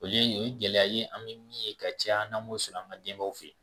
Olu ye o ye gɛlɛya ye an bɛ min ye ka caya n'an m'o sɔrɔ an ka denbayaw fɛ yen